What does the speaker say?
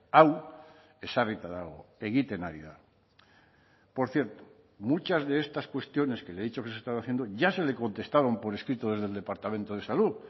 hau ezarrita dago egiten ari da por cierto muchas de estas cuestiones que le he dicho que se están haciendo ya se le contestaron por escrito desde el departamento de salud